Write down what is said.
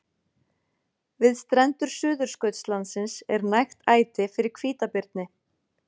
Við strendur Suðurskautslandsins er nægt æti fyrir hvítabirni.